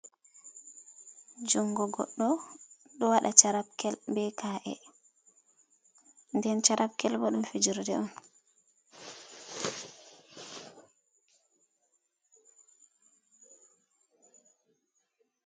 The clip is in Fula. Jungo goɗɗo ɗo waɗa charapkel be k’e, nden charapkel bo ɗum fijirde on.